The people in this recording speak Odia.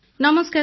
ନମସ୍କାର ସାର୍